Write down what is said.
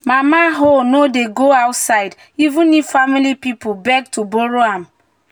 "mama hoe no dey go outside even if family people beg to borrow am."